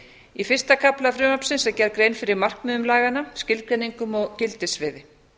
í fyrsta kafla frumvarpsins er gerð grein fyrir markmiðum laganna skilgreiningum og gildissviði